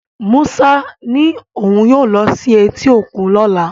Musa ní òun yóò lọ sí etí òkun lọ́la